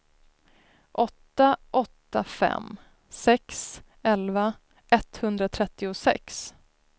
åtta åtta fem sex elva etthundratrettiosex